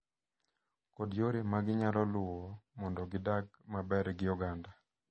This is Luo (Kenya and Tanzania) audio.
Kod yore maginyalo luwo mondo gidag maber gi oganda.